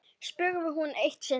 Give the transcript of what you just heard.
spurði hún eitt sinn.